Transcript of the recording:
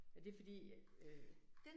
Og det fordi jeg øh